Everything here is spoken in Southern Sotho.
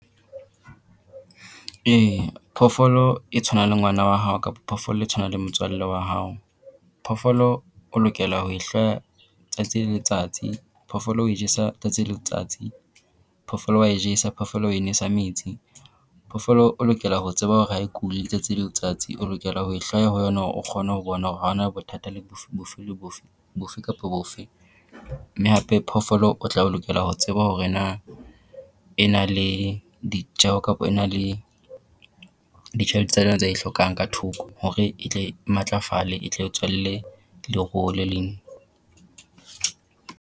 Ee phoofolo e tshwana le ngwana wa hao kapo phoofolo e tshwana le motswalle wa hao. Phoofolo o lokela ho tsatsi le letsatsi. Phoofoloo o e jesa tsatsi le letsatsi. Phoofolo wa e jesa, phoofolo o e nwesa metsi. Phoofolo o lokela ho tseba hore ha e kule tsatsi le letsatsi. O lokela ho ho yona hore o kgone ho bona hore ha hona bothata le bofe le bofe, bofe kapo bofe. Mme hape phoofolo o tla lokela ho tseba hore na e na le ditjeho kapo e na le ditjhelete tsa yona tse e hlokang ka thoko, hore e tle e matlafale e tle o tswalle leruo le leng.